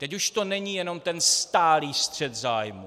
Teď už to není jenom ten stálý střet zájmů.